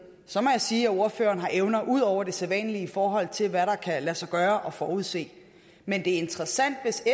så må jeg sige at ordføreren har evner ud over det sædvanlige i forhold til hvad der kan lade sig gøre at forudse men det er interessant hvis